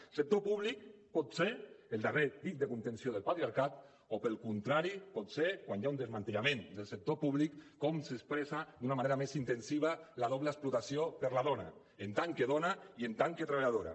el sector públic pot ser el darrer dic de contenció del patriarcat o pel contrari pot ser quan hi ha un desmantellament del sector públic com s’expressa d’una manera més intensiva la doble explotació per a la dona en tant que dona i en tant que treballadora